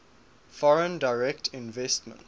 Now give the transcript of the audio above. foreign direct investments